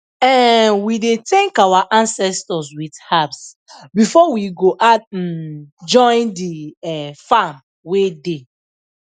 um we dey thank our ancestors with herbs before we go add um join the um farm wey dey